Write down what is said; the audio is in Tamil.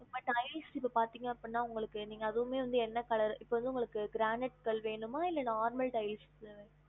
இப்ப tiles க்கு பாத்தீங்க அப்டினா உங்களுக்கு நீங்க அதுவுமே வந்து என்ன colour இப்ப வந்து உங்களுக்கு granite கல்லு வேணுமா இல்ல normal tiles வேணுமா